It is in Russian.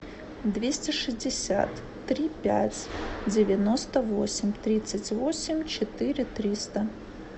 двести шестьдесят три пять девяносто восемь тридцать восемь четыре триста